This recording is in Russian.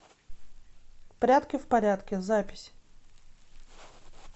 прядки в порядке запись